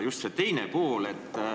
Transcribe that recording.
See on üks pool.